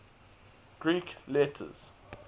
greek letters